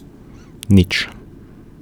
Nič.